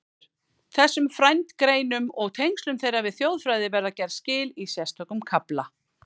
Þessum frændgreinum og tengslum þeirra við þjóðfræði verða gerð skil í sérstökum kafla.